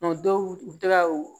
dɔw u tɛ ka u